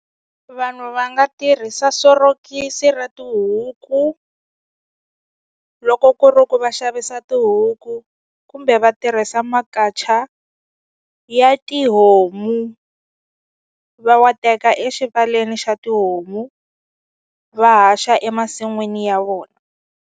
Vanhu va nga tirhisa sorokisi ra tihuku loko ku ri ku va xavisa tihuku kumbe va tirhisa makacha ya tihomu va wa teka exivaleni xa tihomu va haxa emasin'wini ya vona.